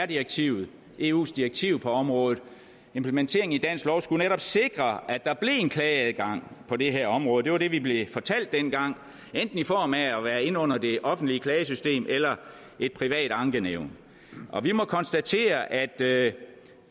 direktivet eus direktiv på området implementeringen i dansk lov skulle netop sikre at der blev en klageadgang på det her område det var det vi blev fortalt dengang enten i form af at være inde under det offentlige klagesystem eller et privat ankenævn vi må konstatere at det